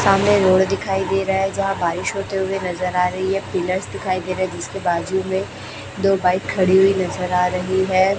सामने रोड दिखाई दे रहा है जहां बारिश होते हुए नजर आ रही है पिलर्स दिखाई दे रहे हैं जिसके बाजू में दो बाइक्स खड़ी हुई नजर आ रही है।